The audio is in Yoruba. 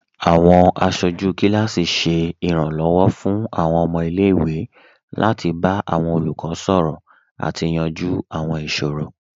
Awọn aṣọju kilasi ṣẹ iranlọwọ fun awọn ọmọ ilẹ̀-iwe lati ba awọn olukọ sọrọ ati yanju awọn iṣoro